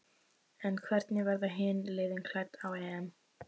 En hvernig verða hin liðin klædd á EM?